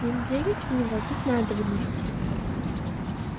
им верить в него без надобности